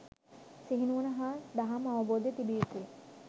සිහිනුවණ හා දහම් අවබෝධය තිබිය යුතුය.